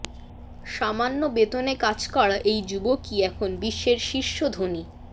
সামান্য বেতনে কাজ করা এই যুবকই এখন বিশ্বের শীর্ষ ধনী